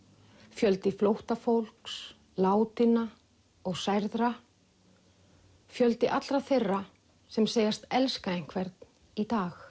fjöldi flóttafólks látinna og særðra fjöldi allra þeirra sem segjast elska einhvern í dag